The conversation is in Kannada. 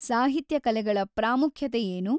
ಸಾಹಿತ್ಯ ಕಲೆಗಳ ಪ್ರಾಮುಖ್ಯತೆ ಏನು?